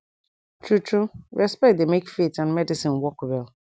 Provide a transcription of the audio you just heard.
tru tru respect dey make faith and medicine work well